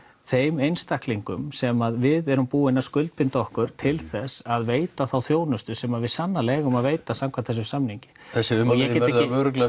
þeim einstaklingum sem við erum búin að skuldbinda okkur til þess að veita þá þjónustu sem við sannarlega eigum að veita samkvæmt þessum samningi þessi ummæli þín verða örugglega